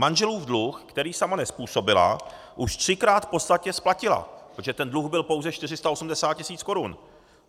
Manželův dluh, který sama nezpůsobila, už třikrát v podstatě splatila, protože ten dluh byl pouze 480 tisíc korun.